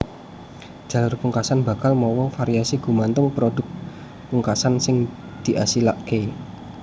Jalur pungkasan bakal mawa variasi gumantung prodhukpungkasan sing diasilaké